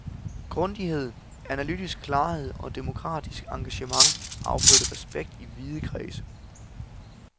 Grundighed, analytisk klarhed og demokratisk engagement affødte respekt i vide kredse.